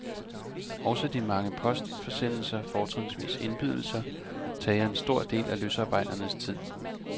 Også de mange postforsendelser, fortrinsvis indbydelser, tager en stor del af løsarbejdernes tid.